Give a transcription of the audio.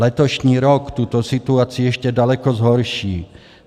Letošní rok tuto situaci ještě daleko zhorší.